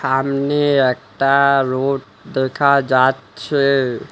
সামনে একটা রোড দেখা যাচ্ছে।